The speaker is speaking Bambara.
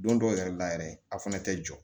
Don dɔw yɛrɛ la yɛrɛ a fana tɛ jɔ